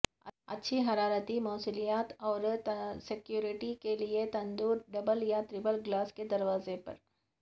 اچھی حرارتی موصلیت اور سیکورٹی کے لئے تندور ڈبل یا ٹرپل گلاس کے دروازے پر